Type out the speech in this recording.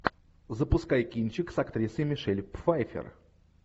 запускай кинчик с актрисой мишель пфайффер